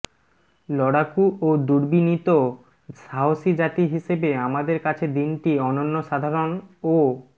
লড়াকু ও দুর্বিনীত সাহসী জাতি হিসেবে আমাদের কাছে দিনটি অনন্যসাধারণ ও